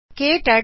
ਸਤ ਸ਼੍ਰੀ ਅਕਾਲ